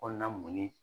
Kɔnɔna mun ni